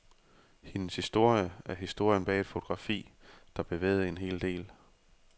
Hendes historie er historien bag et fotografi, der bevægede en hel verden.